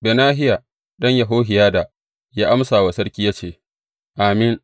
Benahiya ɗan Yehohiyada ya amsa wa sarki, ya ce, Amin!